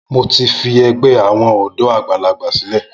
Mo ti fi ẹgbẹ́ àwọn ọ̀dọ́ àgbàlagbà sílẹ̀.